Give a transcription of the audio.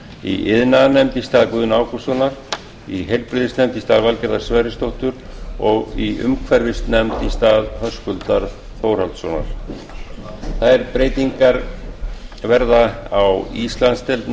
í iðnaðarnefnd í stað guðna ágústssonar í heilbrigðisnefnd í stað valgerðar sverrisdóttur og í umhverfisnefnd í stað höskuldar þórhallssonar þær breytingar verða í íslandsdeild